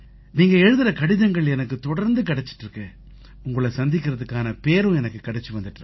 நீங்க எழுதற கடிதங்கள் எனக்குத் தொடர்ந்து கிடைச்சிட்டு இருக்கு உங்களை சந்திக்கறதுக்கான பேறும் எனக்கு கிடைச்சு வந்திட்டு இருக்கு